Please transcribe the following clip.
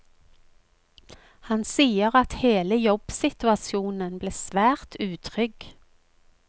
Han sier at hele jobbsituasjonen ble svært utrygg.